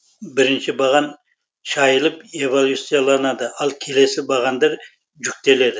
бірінші баған шайылып эвалюцияланады ал келесі бағандар жүктеледі